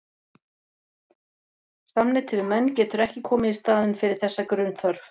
Samneyti við menn getur ekki komið í staðinn fyrir þessa grunnþörf.